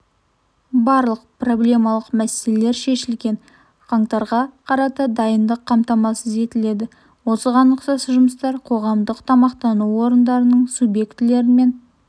барлық проблемалық мәселелер шешілген қаңтарға қарата дайындық қамтамасыз етіледі осыған ұқсас жұмыстар қоғамдық тамақтану орындарының субъектілерімен